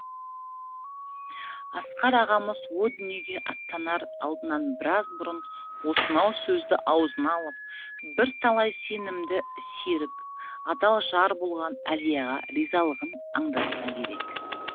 асқар ағамыз о дүниеге аттанар алдынан біраз бұрын осынау сөзді аузына алып бірталай сенімді серік адал жар болған әлияға ризалығын аңдатса керек